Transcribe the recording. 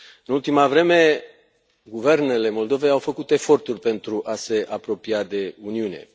În ultima vreme, guvernele Moldovei au făcut eforturi pentru a se apropia de Uniune.